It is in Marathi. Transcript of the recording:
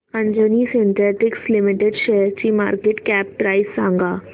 अंजनी सिन्थेटिक्स लिमिटेड शेअरची मार्केट कॅप प्राइस सांगा